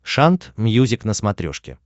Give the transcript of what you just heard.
шант мьюзик на смотрешке